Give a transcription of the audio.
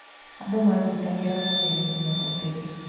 Andũ manyitangĩra mawĩra-inĩ ma ũtegi.